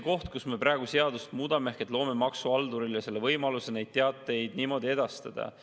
Praegu me muudame seadust nii, et me loome maksuhaldurile võimaluse neid teateid niimoodi edastada.